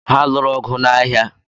Ha lụụrụ ọgụ n'ahia?